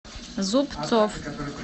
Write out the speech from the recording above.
зубцов